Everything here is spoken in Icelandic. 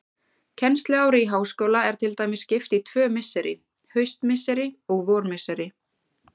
Kennsluári í háskóla er til dæmis skipt í tvö misseri, haustmisseri og vormisseri.